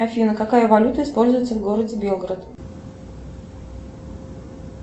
афина какая валюта используется в городе белгород